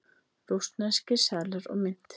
Rússneskir seðlar og mynt.